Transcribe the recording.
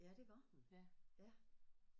Ja det var hun ja